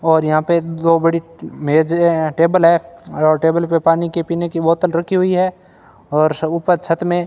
और यहां पे दो बड़ी मेजे टेबल है और टेबल पे पानी के पीने की बॉटल रखी हुई है और सब ऊपर छत में --